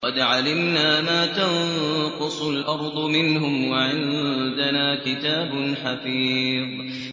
قَدْ عَلِمْنَا مَا تَنقُصُ الْأَرْضُ مِنْهُمْ ۖ وَعِندَنَا كِتَابٌ حَفِيظٌ